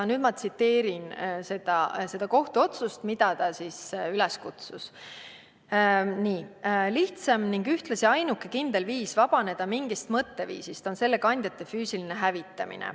Ma tsiteerin kohtuotsust, et millele ta üles kutsus: "Lihtsam ning ühtlasi ainuke kindel viis vabaneda mingist mõtteviisist on selle kandjate füüsiline hävitamine.